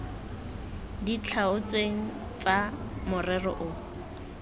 di tlhaotsweng tsa morero o